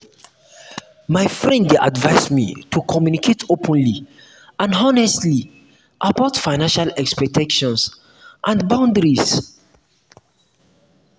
my friend dey advise me to communicate openly and honestly about financial expectations and boundaries.